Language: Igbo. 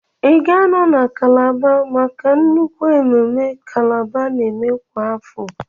Ị ga-anọ na kálábá maka nnukwu ememme kálábá n'eme kwa afọ?